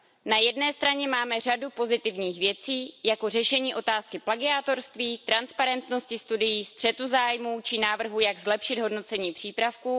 Na jedné straně máme řadu pozitivních věcí, jako řešení otázky plagiátorství, transparentnosti studií, střetu zájmů či návrhů jak zlepšit hodnocení přípravků.